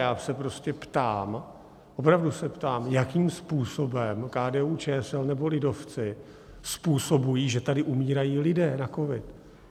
Já se prostě ptám, opravdu se ptám, jakým způsobem KDU-ČSL nebo lidovci způsobují, že tady umírají lidé na covid?